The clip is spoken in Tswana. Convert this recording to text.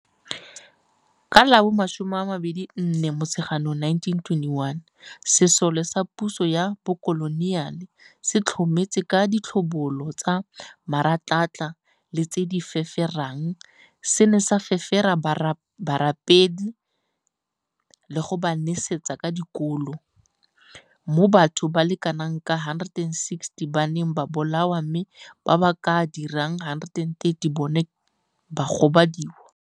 Ka la bo 24 Motsheganong 1921, sesole sa puso ya bokoloniale se tlhometse ka ditlhobolo tsa meratlatla le tse di feferang se ne sa fefera barapedi le go ba nesetsa ka dikolo, mo batho ba le kanaka 160 ba neng ba bolawa mme ba ba ka dirang 130 bona ba ne ba gobadiwa.